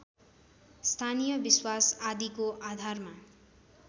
स्थानीय विश्वास आदिको आधारमा